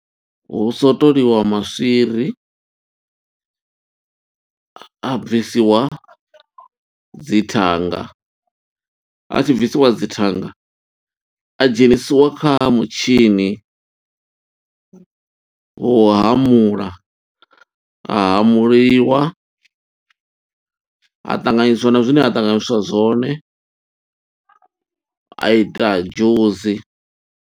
Hu swotoliwa maswiri, a bvisiwa dzi thanga, a tshi bvisiwa dzi thanga. A dzhenisiwa kha mutshini, wo u hamula, a hamuliwa, a ṱanganyiswa na zwine a ṱanganyiswa zwone, a ita dzhusi.